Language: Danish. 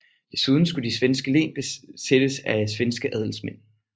Desuden skulle de svenske len besættes af svenske adelsmænd